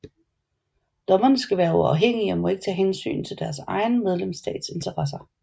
Dommerne skal være uafhængige og må ikke tage hensyn til deres egen medlemsstats interesser